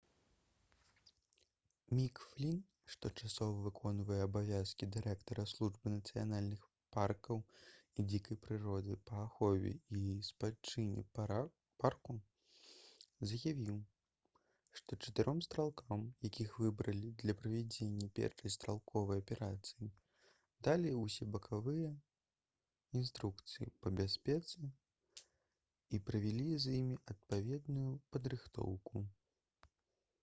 мік флін што часова выконвае абавязкі дырэктара службы нацыянальных паркаў і дзікай прыроды па ахове і спадчыне парку заявіў што чатыром стралкам якіх выбралі для правядзення першай стралковай аперацыі далі ўсебаковыя інструкцыі па бяспецы і правялі з імі адпаведную падрыхтоўку